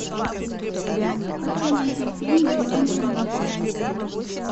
хочу найти фильм зеленая миля